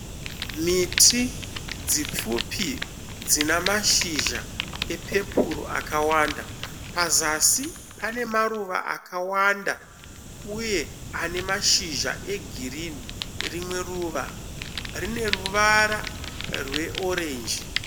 Miti dzipfupi dzina mashizha epepuro akawanda. Pazasi pane maruva akawanda uye ane mashizha egirinhi. Rimwe ruva rine ruvara rweorenji.